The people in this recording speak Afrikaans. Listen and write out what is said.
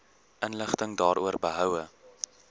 inligting daaroor behoue